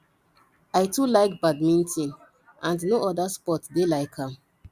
i too like badminton and no other sport dey like am